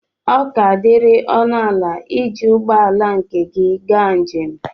ọ ka diri ọnụ ala iji ụgbọ ala nke gị gaa njem